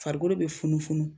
Farikolo be funu funu